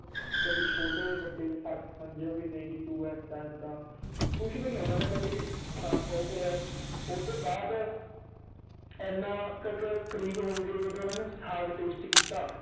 ਕਦੇ ਛੋਟੇ ਵੱਡੇ ਚ ਫ਼ਰਕ ਸਮਝਿਆ ਵੀ ਨਹੀਂ ਤੂੰ ਏਦਾਂ ਏਦਾਂ ਕੁਛ ਵੀ ਨੀ ਉਹਨਾਂ ਨੇ ਕਦੇ ਵੀ ਉਹ ਕਰਿਆ ਵੀ ਉਹ ਤੇ ਬਾਅਦ ਇੰਨਾ ਕਰੀਬ ਹੋ ਗਏ ਜਦੋਂ ਉਹਨਾਂ ਨੇ ਸਾਘ taste ਕੀਤਾ